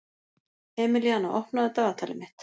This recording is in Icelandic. Emelíana, opnaðu dagatalið mitt.